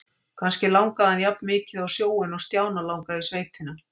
Kannski langaði hann jafnmikið á sjóinn og Stjána langaði í sveitina.